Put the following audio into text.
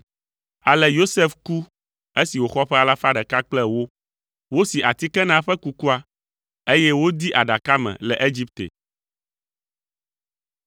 Ale Yosef ku esi wòxɔ ƒe alafa ɖeka kple ewo. Wosi atike na eƒe kukua, eye wodee aɖaka me le Egipte.